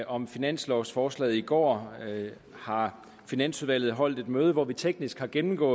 om finanslovforslaget i går har finansudvalget holdt et møde hvor vi teknisk gennemgang